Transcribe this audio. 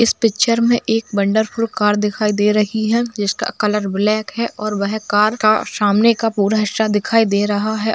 इस पिक्चर में एक वंडरफुल कार दिखाई दे रही है जिसका कलर ब्लैक है और वह कार का सामने का पूरा हिस्सा दिखाई दे रहा है।